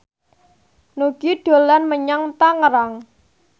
Nugie dolan menyang Tangerang